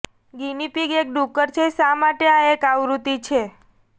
guinea pig એક ડુક્કર છે શા માટે આ એક આવૃત્તિ છે